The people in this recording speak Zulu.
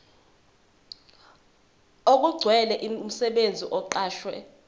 okugcwele umsebenzi oqashwe